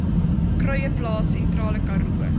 kruieplaas sentrale karoo